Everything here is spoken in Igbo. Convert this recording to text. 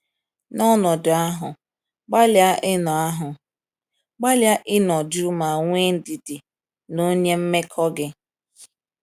N’ọnọdụ ahụ, gbalịa ịnọ ahụ, gbalịa ịnọ jụụ ma nwee ndidi na onye mmekọ gị.